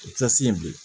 O ti kilasi ye bilen